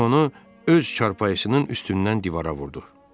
Göz onu öz çarpayısının üstündən divara vurdu.